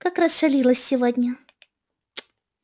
как расшалилась сегодня